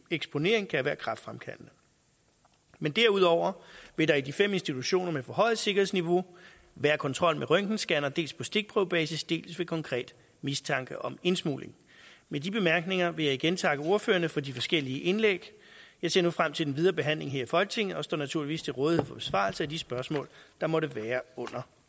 eksponering kan være kræftfremkaldende men derudover vil der i de fem institutioner med forhøjet sikkerhedsniveau være kontrol med røntgenscanner dels på stikprøvebasis dels ved konkret mistanke om indsmugling med de bemærkninger vil jeg igen takke ordførerne for de forskellige indlæg jeg ser nu frem til den videre behandling her i folketinget og står naturligvis til rådighed for besvarelse af de spørgsmål der måtte være under